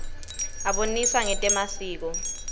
abonisa ngetemasiko